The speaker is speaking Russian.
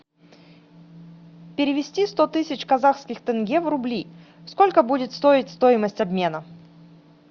перевести сто тысяч казахских тенге в рубли сколько будет стоить стоимость обмена